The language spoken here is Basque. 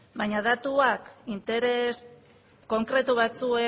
baina datuak interes konkretu batzuen